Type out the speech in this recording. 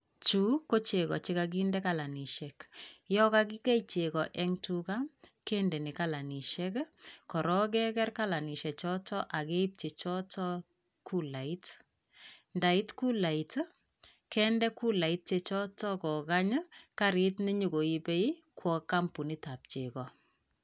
Chu kochego chegokinde kalanisiek yon kakikei chego en tuga kendeni kalanisiek korok keker kalanisiechoton ak keip chechoton kulait. Ndait kulait kende kulait chechoton kokany karit nenyokoibe koba kampunitap chego.